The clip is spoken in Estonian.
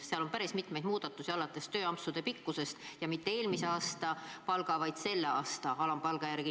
Seal on päris mitmeid muudatusi, alates tööampsude pikkusest ja mitte eelmise aasta palga, vaid selle aasta alampalga järgi.